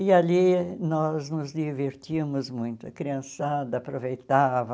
E ali nós nos divertíamos muito, a criançada aproveitava,